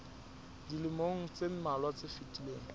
dilemong tse mmalwa tse fetileng